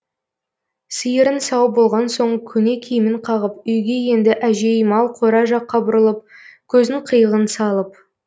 сиырын сауып болған соң көне киімін қағып үйге енді әжей мал қора жаққа бұрылып көздің қиығын салып